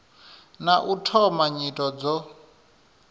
na u thoma nyito dzo